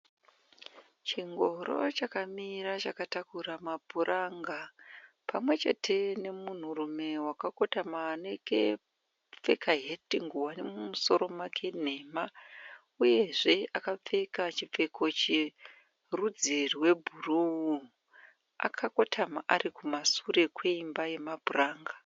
Chingoro chakamira chakatakura mapuranga pamwechete nemunhurume wakakotama akapfeka ngowani mumusoro make nhema uyezve akapfeka chipfeko cherudzi rwebhuruu. Akakotama ari kumasure kweimba yemapuramga.